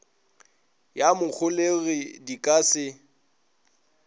ya moholegi di ka se